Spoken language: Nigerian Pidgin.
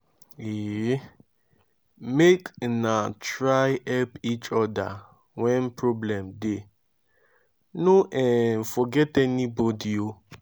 um make una try help each oda wen problem dey no um forget anybodi.